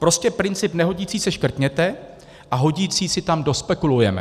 Prostě princip nehodící se škrtněte a hodící si tam dospekulujeme.